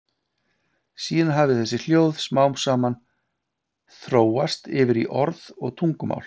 Síðan hafi þessi hljóð smám saman þróast yfir í orð og tungumál.